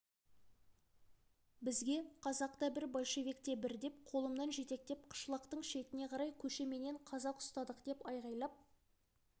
бізге қазақ та бір большевик те бір деп қолымнан жетектеп қышлақтың шетіне қарай көшеменен қазақ ұстадық деп айғайлап